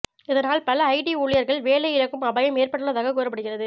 இதனால் பல ஐடி ஊழியர்கள் வேலை இழக்கும் அபாயம் ஏற்பட்டுள்ளதாக கூறப்படுகிறது